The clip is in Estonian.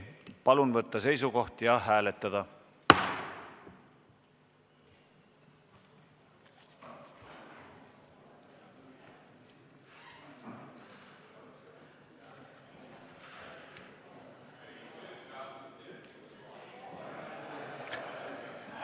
Palun võtta seisukoht ja hääletada!